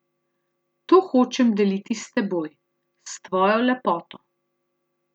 To hočem deliti s teboj, s tvojo lepoto.